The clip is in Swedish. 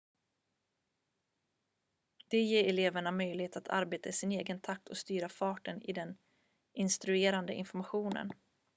det ger eleverna möjlighet att arbeta i sin egen takt och styra farten i den instruerande informationen